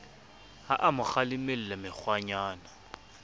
ha a mo kgalemella mekgwanyana